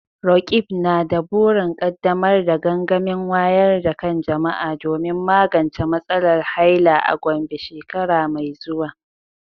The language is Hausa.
Roqeeb na da burin kaddamar da gangamin wayar da kan jama’a domin magance matsalar haila a Gombe shekara mai zuwa.